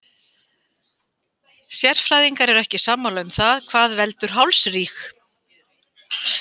Sérfræðingar eru ekki sammála um það hvað veldur hálsríg.